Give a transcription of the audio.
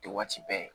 Tɛ waati bɛɛ ye